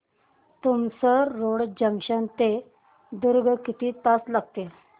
Tumsar road junction ते दुर्ग किती तास लागतील